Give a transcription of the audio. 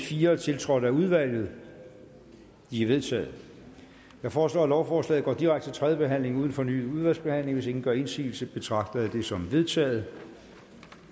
fire tiltrådt af udvalget de er vedtaget jeg foreslår at lovforslaget går direkte til tredje behandling uden fornyet udvalgsbehandling hvis ingen gør indsigelse betragter jeg det som vedtaget